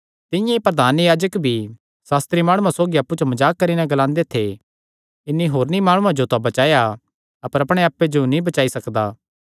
तिंआं ई प्रधान याजक भी सास्त्री माणुआं सौगी अप्पु च मजाक करी नैं ग्लांदे थे इन्हीं होरनी माणुआं जो तां बचाया अपर अपणे आप्पे जो नीं बचाई सकदा